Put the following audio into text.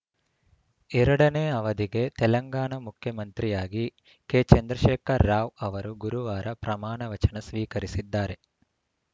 ಎರಡನೇ ಅವಧಿಗೆ ತೆಲಂಗಾಣ ಮುಖ್ಯಮಂತ್ರಿಯಾಗಿ ಕೆ ಚಂದ್ರಶೇಖರ ರಾವ್‌ ಅವರು ಗುರುವಾರ ಪ್ರಮಾಣ ವಚನ ಸ್ವೀಕರಿಸಿದ್ದಾರೆ